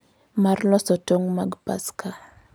Mar loso tong’ mag Paska.